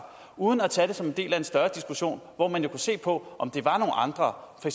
uden at tage det som en del af en større diskussion hvor man jo kunne se på om det var nogle andre for